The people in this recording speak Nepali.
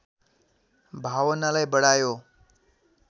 भावनालाई बढायो